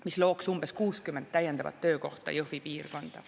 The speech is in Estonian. See looks umbes 60 täiendavat töökohta Jõhvi piirkonda.